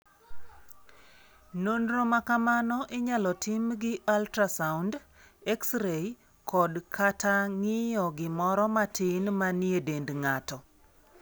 Nonro ma kamano inyalo tim gi ultrasound, X-ray, kod/kata ng'iyo gimoro matin manie dend ng'ato.